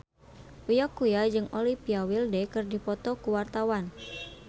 Uya Kuya jeung Olivia Wilde keur dipoto ku wartawan